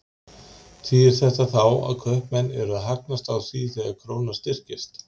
Þýðir þetta þá að kaupmenn eru að hagnast á því þegar krónan styrkist?